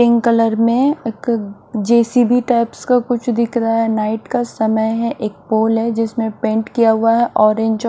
pink colour में एक JCB type का कुछ दिख रहा है नाइट का समय है एक पोल है जिसमें पेंट किया हुआ है ऑरेंज जो--